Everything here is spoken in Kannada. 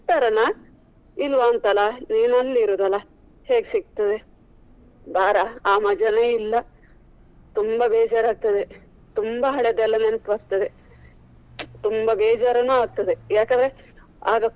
ಸಿಕ್ತಾರಾನ ಇಲ್ವಾ ಅಂತ ಅಲ್ಲ ನೀನು ಅಲ್ಲಿ ಇರುದಲ್ಲ ಹೇಗ್ ಸಿಕ್ತದೆ. ಬಾರ ಆ ಮಜಾನೇ ಇಲ್ಲ ತುಂಬಾ ಬೇಜಾರ್ ಆಗ್ತದೆ ತುಂಬಾ ಹಳೆದೆಲ್ಲಾ ನೆನಪು ಬರ್ತದೆ. ತುಂಬಾ ಬೇಜಾರುನು ಆಗ್ತದೆ ಯಾಕಂದ್ರೆ ಆಗ.